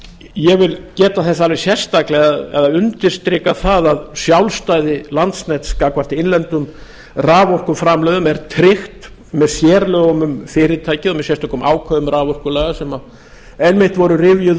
ég vil geta þess alveg sérstaklega og undirstrika það að sjálfstæði landsnets gagnvart innlendum raforkuframleiðendum er tryggt með sérlögum um fyrirtæki og með sérstökum ákvæðum raforkulaga sem einmitt voru rifjuð